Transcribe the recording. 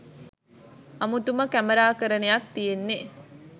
අමුතුම කැමරාකරණයක් තියෙන්නේ